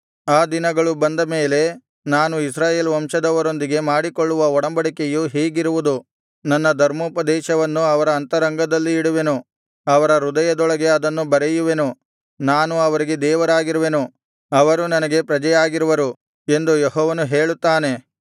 ಆ ದಿನಗಳು ಬಂದಮೇಲೆ ನಾನು ಇಸ್ರಾಯೇಲ್ ವಂಶದವರೊಂದಿಗೆ ಮಾಡಿಕೊಳ್ಳುವ ಒಡಂಬಡಿಕೆಯು ಹೀಗಿರುವುದು ನನ್ನ ಧರ್ಮೋಪದೇಶವನ್ನು ಅವರ ಅಂತರಂಗದಲ್ಲಿ ಇಡುವೆನು ಅವರ ಹೃದಯದೊಳಗೆ ಅದನ್ನು ಬರೆಯುವೆನು ನಾನು ಅವರಿಗೆ ದೇವರಾಗಿರುವೆನು ಅವರು ನನಗೆ ಪ್ರಜೆಯಾಗಿರುವರು ಎಂದು ಯೆಹೋವನು ಹೇಳುತ್ತಾನೆ